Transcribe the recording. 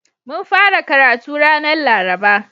Mun fara karatu ranar Laraba.